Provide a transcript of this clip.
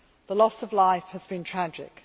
The loss of life has been tragic.